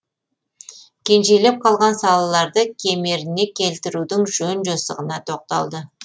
кенжелеп қалған салаларды кемеріне келтірудің жөн жосығына тоқталды